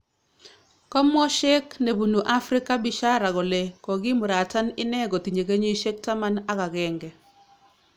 Komwo shekh nebunu Afrika Bishara kole kogimuratan ine kotinye kenyisyek taman ak agenge